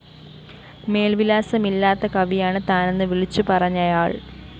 മേല്‍വിലാസമില്ലാത്ത കവിയാണ് താനെന്ന് വിളിച്ചു പറഞ്ഞയാള്‍